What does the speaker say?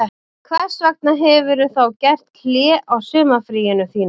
Hvers vegna hefurðu þá gert hlé á sumarfríinu þínu